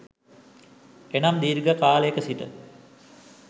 එනම් දීර්ඝ කාලයක සිට